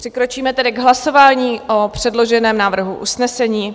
Přikročíme tedy k hlasování o předloženém návrhu usnesení.